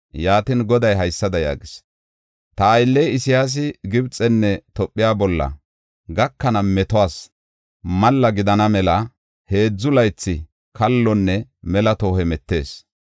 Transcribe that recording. Yaatin Goday haysada yaagis: “Ta aylley Isayaasi Gibxenne Tophe bolla gakana metuwas malla gidana mela heedzu laythi kallonne mela tohon hemetis.